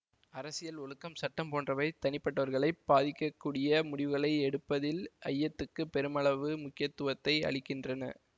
அரசியல் ஒழுக்கம் சட்டம் போன்றவை தனிப்பட்டவர்களைப் பாதிக்கக்கூடிய முடிவுகளை எடுப்பதில் ஐயத்துக்கு பெருமளவு முக்கியத்துவத்தை அளிக்கின்றன